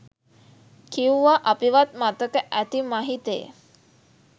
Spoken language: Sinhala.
කිව්වා අපිවත් මතක ඇති මහිතෙ